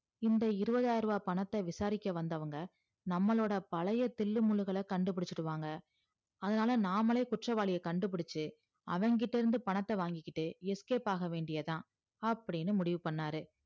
இந்த இருவதாய்ரவ பணத்த விசாரிக்க வந்தவங்க நம்மலுடைய பழைய தில்லு முல்லுகள கண்டு புடிச்சிடுவாங்க அதனால நாம்மலே குற்றவாளிய கண்டுபுடிச்சி அவன்கிட்ட இருந்து பணத்த வாங்கிகிட்டு escape ஆகவேண்டியதுதா அப்டின்னு முடிவு பண்ணாரு